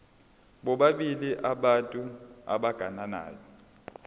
bobabili abantu abagananayo